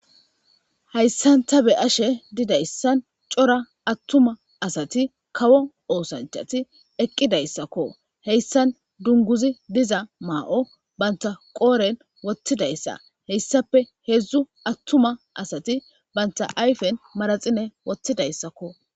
hayssan ta be ashe didayssan cora attuma asati kawo oosanchati eqqidayssakko heyssan dunguzi diza maa7o banta qooren wottidayssa heyssape heedzdzu attuma asati banta ayfen maraxine wottidayssakko